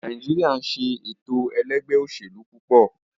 Nàìjíríà ń se ètò ẹlẹ́gbẹ́-òsèlú púpọ̀.